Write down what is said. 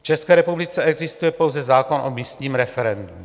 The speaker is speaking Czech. V České republice existuje pouze zákon o místním referendu.